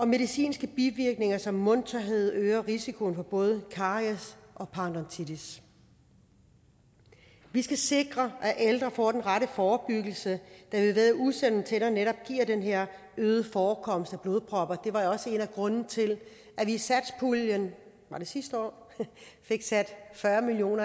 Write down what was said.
medicinske bivirkninger som mundtørhed øger risikoen for både karies og paradontitis vi skal sikre at ældre får den rette forebyggelse da vi ved at usunde tænder netop giver den her øgede forekomst af blodpropper det var jo også en af grundene til at vi i satspuljen var det sidste år fik sat fyrre million